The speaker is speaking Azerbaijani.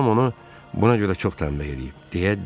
Anam onu buna görə çox tənbeh eləyib.